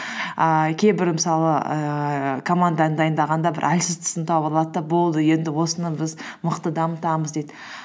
ііі кейбір мысалы ііі команданы дайындағанда бір әлсіз тұсын тауып алады да болды енді осыны біз мықты дамытамыз дейді